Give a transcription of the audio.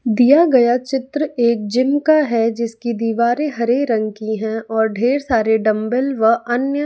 दिया गया चित्र एक जिम का है जिसकी दीवारें हरे रंग की है और ढेर सारे डंबल वह अन्य--